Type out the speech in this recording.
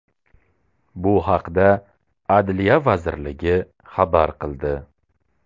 Bu haqda Adliya vazirligi xabar qildi .